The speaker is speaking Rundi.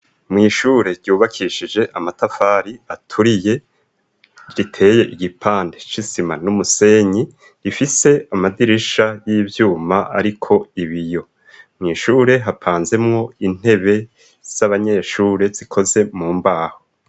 Mw' ishure ryubakishije amatafari aturiye riteye igipande c'isima n'umusenyi rifise amadirisha y' ivyuma ariko ibiyo. Mw' ishure hapanzemwo intebe z'abanyeshure zikozwe mu mbaho.